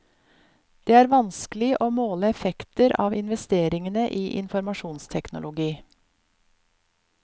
Det er vanskelig å måle effekter av investeringene i informasjonsteknologi.